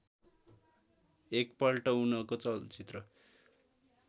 एकपल्ट उनको चलचित्र